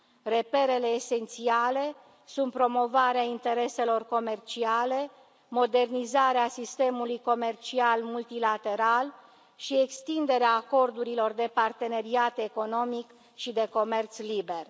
Reperele esențiale sunt promovarea intereselor comerciale, modernizarea sistemului comercial multilateral și extinderea acordurilor de parteneriat economic și de comerț liber.